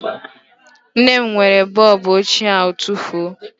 Nne m were bọọbụ ochie ahụ tufuo